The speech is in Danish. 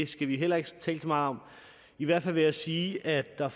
skal vi heller ikke tale så meget om i hvert fald vil jeg sige at der